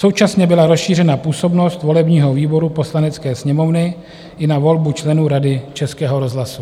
Současně byla rozšířena působnost volebního výboru Poslanecké sněmovny i na volbu členů Rady Českého rozhlasu.